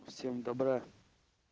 всем добра